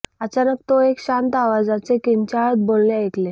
अचानक तो एक शांत आवाजाचे किंचाळत बोलणे ऐकले